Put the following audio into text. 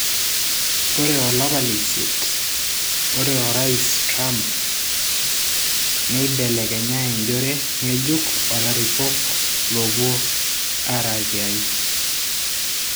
Ore olapa leisiet ore Orais Trumpneibelekenye enjore ngejuk olaripok lopwo ara tiai.